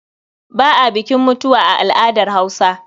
Ba a bukin mutuwa a al'adar Hausa.